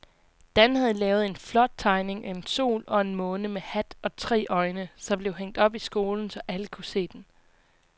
Dan havde lavet en flot tegning af en sol og en måne med hat og tre øjne, som blev hængt op i skolen, så alle kunne se den.